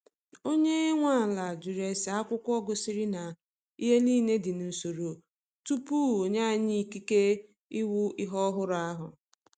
Onye nwe ala jụrụ ese akwụkwọ gosiri na ihe niile dị n’usoro tupu onye anyi ikike ịwụ ihe ọhụrụ ahụ.